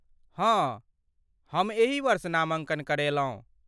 हँ, हम एही वर्ष नामाँकन करेलहुँ।